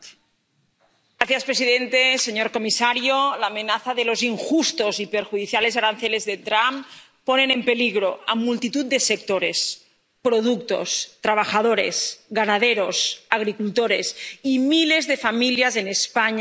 Señor presidente, señor comisario, la amenaza de los injustos y perjudiciales aranceles de Trump pone en peligro a multitud de sectores, productos, trabajadores, ganaderos, agricultores y miles de familias en España y en Europa.